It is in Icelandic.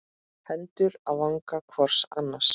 Hendur á vanga hvors annars.